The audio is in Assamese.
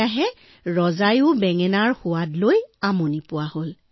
লাহে লাহে ৰজাও বিৰক্ত হৈ আহিবলৈ ধৰিলে